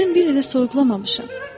Mən bir il əvvəl soyuqlamamışam.